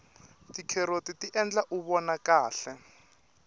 ticaroti ti endla uvona kahle